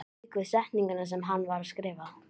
Það varð ekki til að draga úr óttanum og óörygginu.